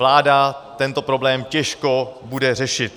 Vláda tento problém těžko bude řešit.